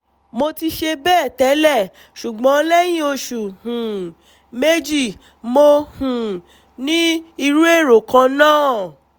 mo ti ṣe bẹ́ẹ̀ tẹ́lẹ̀ ṣùgbọ́n lẹ́yìn oṣù um méjì mo um ní irú èrò kan náà